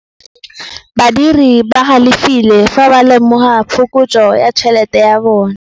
Badiri ba galefile fa ba lemoga phokotsô ya tšhelête ya bone.